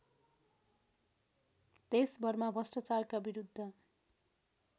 देशभरमा भ्रष्टाचारका विरुद्ध